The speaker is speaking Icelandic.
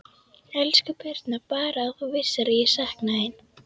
Elsku Birna, Bara að þú vissir hvað ég sakna þín.